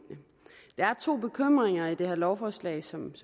har to bekymringer i det her lovforslag som vi